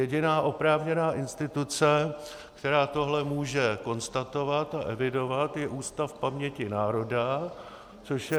Jediná oprávněná instituce, která tohle může konstatovat a evidovat, je Ústav paměti národa, což je...